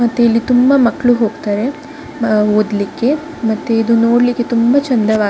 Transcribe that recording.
ಮತ್ತೆ ಇಲ್ಲಿ ತುಂಬಾ ಮಕ್ಕಳು ಹೋಗ್ತಾರೆ ಆ ಓದ್ಲಿಕ್ಕೆ ಮತ್ತೆ ಇದು ನೋಡ್ಲಿಕ್ಕೆ ತುಂಬಾ ಚಂದವಾಗಿದೆ.